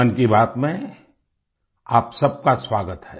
मन की बात में आप सबका स्वागत है